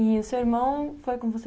E o seu irmão foi com você?